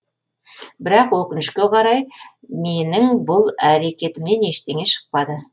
бірақ өкінішке қарай менің бұл әрекетімнен ештеңе шықпады